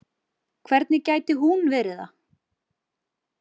Hvernig gæti hún verið það?